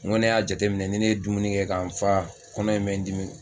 N kɔni y'a jateminɛ ni ne ye dumuni kɛ k'an fa kɔnɔ in bɛ n dimi.